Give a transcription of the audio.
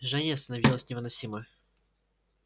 жжение становилось невыносимо